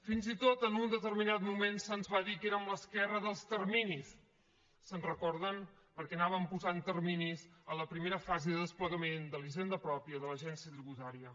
fins i tot en un determinat moment se’ns va dir que érem l’esquerra dels terminis se’n recorden perquè anàvem posant terminis a la primera fase de desplegament de la hisenda pròpia de l’agència tributària